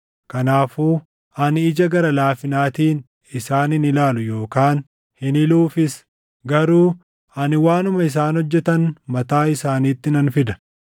Kanaafuu ani ija gara laafinaatiin isaan hin ilaalu yookaan hin hiluufis; garuu ani waanuma isaan hojjetan mataa isaaniitti nan fida.”